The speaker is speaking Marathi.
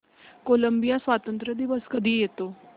कोलंबिया स्वातंत्र्य दिवस कधी येतो